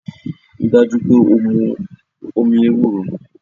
Rí i dájú pé o mu omi ewúro!